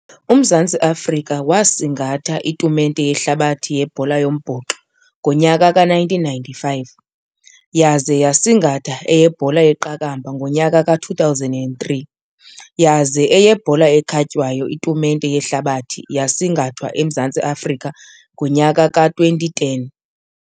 UMzantsi Afrika wasingatha itumente yehlabathi yebhola yombhoxo ngonyaka ka-nineteen ninety-five, yaze yasingatha eyebhola yeqakamba ngonyaka ka-two thousand and three, yaze eyebhola ekhatywayo itumente yehlabathi yasingathwa eMzantsi Afrika ngonyaka ka-twenty ten.